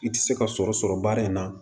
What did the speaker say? I tɛ se ka sɔrɔ sɔrɔ baara in na